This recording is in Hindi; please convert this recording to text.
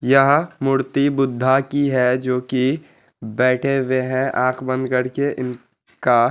यह मूर्ति बुद्धा की है जो कि बैठे हुए हैं आंख बंद करके इनका --